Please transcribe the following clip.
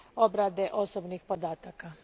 obrade osobnih podataka.